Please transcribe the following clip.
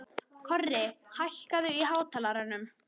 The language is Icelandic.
Korri, hækkaðu í hátalaranum.